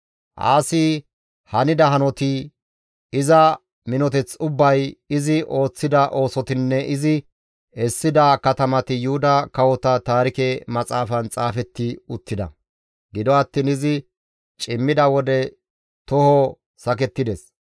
Aasi hanida hanotati, iza minoteth ubbay, izi ooththida oosotinne izi essida katamati Yuhuda Kawota Taarike Maxaafan xaafetti uttida. Gido attiin izi cimmida wode toho sakettides.